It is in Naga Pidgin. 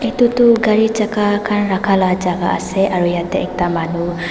etu tu gari chakka khan rakha la jaga ase aru yate ekta manu--